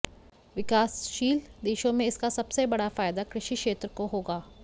विकासशील देशों में इसका सबसे बड़ा फायदा कृषि क्षेत्र को होगा